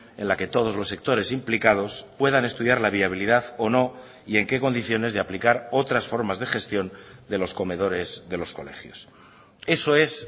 en la que todos los sectores implicados puedan estudiar la viabilidad o no y en qué condiciones de aplicar otras formas de gestión de los comedores de los colegios eso es